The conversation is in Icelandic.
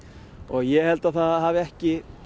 ég held að það hafi ekki